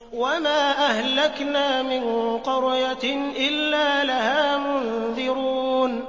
وَمَا أَهْلَكْنَا مِن قَرْيَةٍ إِلَّا لَهَا مُنذِرُونَ